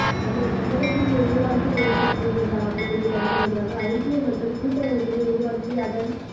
நமது சமூகத்திற்கு எதிர்காலத்தில் ஏற்படப் போகின்ற ஆபத்தினை தடுப்பதற்காக ஐக்கிய மக்கள் கூட்டமைப்பினை உருவாக்கி அதன்